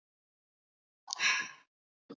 En henni var ætlað annað.